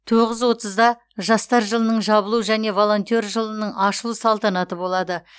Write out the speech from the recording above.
тоғыз отызда жастар жылының жабылу және волонтер жылының ашылу салтанаты болады